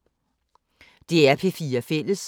DR P4 Fælles